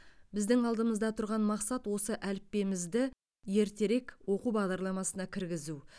біздің алдымызда тұрған мақсат осы әліппемізді ертерек оқу бағдарламасына кіргізу